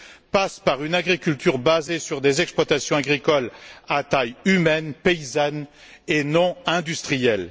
passe par une agriculture basée sur des exploitations agricoles à taille humaine, paysannes et non industrielles.